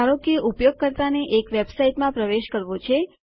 ધારો કે ઉપયોગકર્તાને એક વેબસાઇટમાં પ્રવેશ કરવો છે